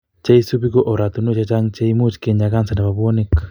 Cheisubi ko oratunwek chechang che imuch kinya kansa nebo bwonik